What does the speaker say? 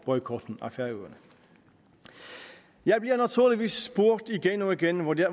boykotten af færøerne jeg bliver naturligvis spurgt igen og igen hvordan